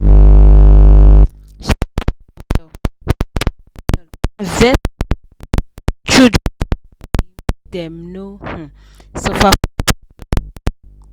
she plan well she plan well invest for her um children school money make dem no um suffer for future